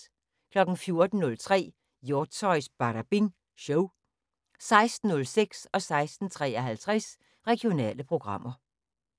14:03: Hjortshøjs Badabing Show 16:06: Regionale programmer 16:53: Regionale programmer